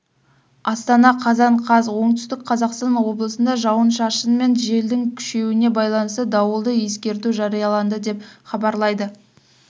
астана қазан қаз оңтүстік қазақстан облысында жауын-шашын мен желдің күшеюіне байланысты дауылды ескерту жарияланды деп хабарлайды